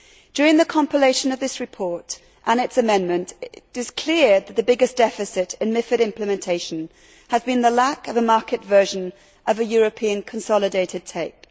During the compilation of this report and its amendment, it was clear that the biggest deficit in MiFID implementation has been the lack of a market version of a European consolidated tape.